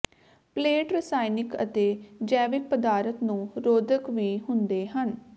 plate ਰਸਾਇਣਕ ਅਤੇ ਜੈਵਿਕ ਪਦਾਰਥ ਨੂੰ ਰੋਧਕ ਵੀ ਹੁੰਦੇ ਹਨ